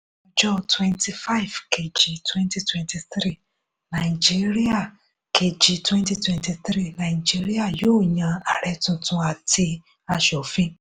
ọjọ́ twenty five kejì twenty twenty three nàìjíríà kejì twenty twenty three nàìjíríà yóò yan ààrẹ tuntun àti aṣòfin.